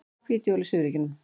Hvít jól í suðurríkjunum